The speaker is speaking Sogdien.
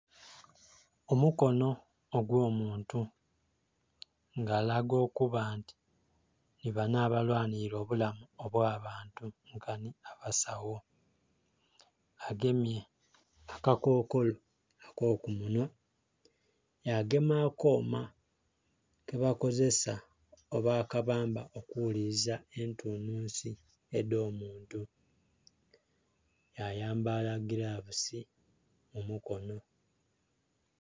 Omukonho ogwo muntu nga alaga okuba nti nhi banho aba lwanhilila obulamu obwa bantu nkanhi abasagho. agemye aka kokolo ako ku munhwa, yagema akooma keba kozesa oba aka bamba oku ghuliliza entunhunsi edho muntu yayambala gilavusi mu mukonho.